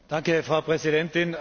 Frau Präsidentin!